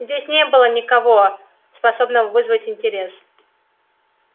здесь не было никого способного вызвать интерес